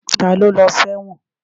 Ta ló lọ sẹ́wọ̀n?